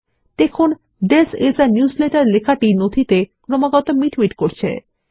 দেখুন this is a newsletter লেখাটি document এ ক্রমাগত মিটমিট করছে